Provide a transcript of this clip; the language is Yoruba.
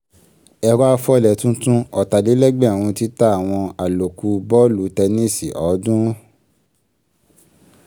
ẹ̀rọ afọlẹ̀ tuntun ọ̀tàlélẹ́gbẹ̀rún títa àwọn àlòkù bọ́ọ̀lù tẹníìsì ọ̀ọ́dúnrún.